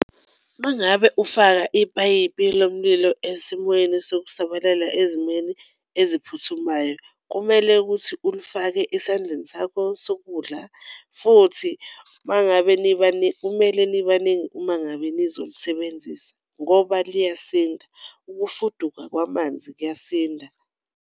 Uma ngabe ufaka ipayipi lo mlilo esimweni sokusabalala ezimweni eziphuthumayo kumele ukuthi ulifake esandleni sakho sokudla futhi uma ngabe kumele nibaningi uma ngabe nizolisebenzisa ngoba liyasinda, ukufuduka kwamanzi kuyasinda.